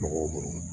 Tɔgɔ